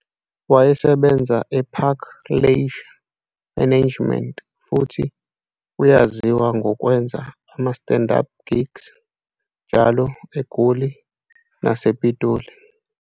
Wayesebenza eParker Leisure Management futhi uyaziwa ngokwenza ama-stand-up gigs njalo eGoli nasePitoli.